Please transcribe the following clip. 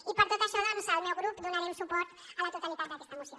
i per tot això doncs el meu grup donarem suport a la totalitat d’aquesta moció